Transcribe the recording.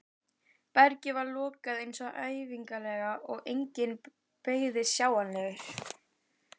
Bergið var lokað eins og ævinlega og enginn bergrisi sjáanlegur.